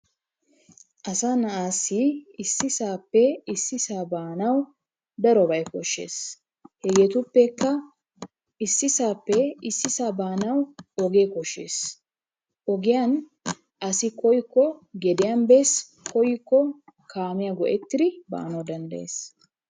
Asa na'aassi issisaappe issisaa baanawu darobayi koshshes. Hegeetuppekka issisaappe issisaa baanawu ogee koshshes. Ogiyan asi koyyikko Issoyi gediyan bes koyyikko kaamiya go'ettidi baanawu danddayees.